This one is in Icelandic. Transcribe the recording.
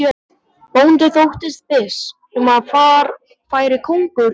Bóndi þóttist viss um að þar færi konungur Íslands.